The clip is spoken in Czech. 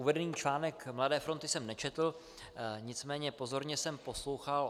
Uvedený článek Mladé fronty jsem nečetl, nicméně pozorně jsem poslouchal.